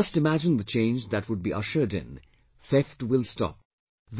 Just imagine the change that would be ushered in, theft will stop,